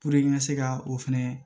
n ka se ka o fɛnɛ